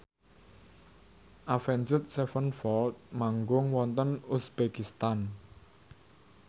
Avenged Sevenfold manggung wonten uzbekistan